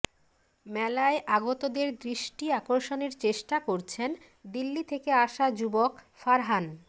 মেলায় আগতদের দৃষ্টি আকর্ষণের চেষ্টা করছেন দিল্লি থেকে আসা যুবক ফারহান